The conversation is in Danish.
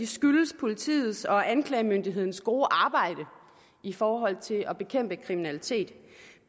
skyldes politiets og anklagemyndighedens gode arbejde i forhold til at bekæmpe kriminalitet